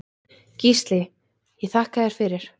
Gísli ég þakka þér fyrir.